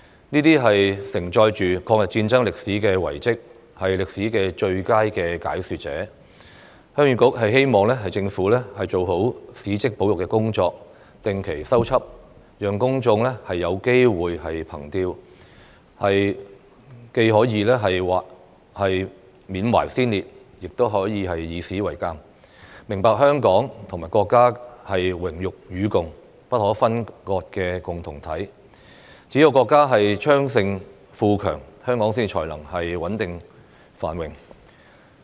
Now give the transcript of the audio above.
這些承載抗日戰爭歷史的遺蹟，是歷史的最佳解說者，鄉議局希望政府做好史蹟保育工作，定期修葺，讓公眾有機會憑弔，既緬懷先烈，亦以史為鑒，明白香港與國家是榮辱與共、不可分割的共同體，只有國家昌盛富強，香港才能穩定繁榮。